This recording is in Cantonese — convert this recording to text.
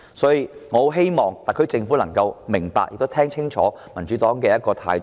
所以，我希望特區政府明白並聽清楚民主黨的態度。